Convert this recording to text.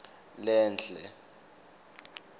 lenhle